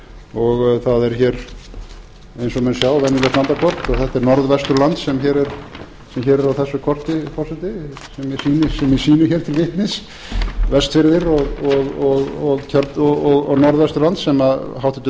og það er hér eins og menn sjá venjulegt landakort og þetta er norðvesturland sem hér er á þessu korti forseti sem ég sýni hér til vitnis vestfirðir og norðvesturland sem háttvirtur